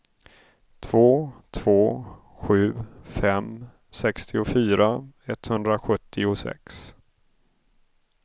två två sju fem sextiofyra etthundrasjuttiosex